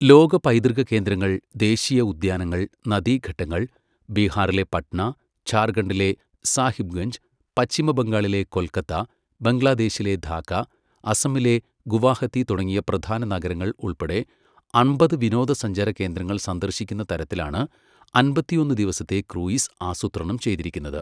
ലോക പൈതൃക കേന്ദ്രങ്ങൾ, ദേശീയ ഉദ്യാനങ്ങൾ, നദീഘട്ടങ്ങൾ, ബിഹാറിലെ പട്ന, ഝാർഖണ്ഡിലെ സാഹിബ്ഗഞ്ച്, പശ്ചിമ ബംഗാളിലെ കൊൽക്കത്ത, ബംഗ്ലാദേശിലെ ധാക്ക, അസമിലെ ഗുവാഹത്തി തുടങ്ങിയ പ്രധാന നഗരങ്ങൾ ഉൾപ്പെടെ അമ്പത് വിനോദസഞ്ചാരകേന്ദ്രങ്ങൾ സന്ദർശിക്കുന്ന തരത്തിലാണ് അമ്പത്തിയൊന്ന് ദിവസത്തെ ക്രൂയിസ് ആസൂത്രണം ചെയ്തിരിക്കുന്നത്.